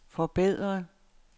forbedre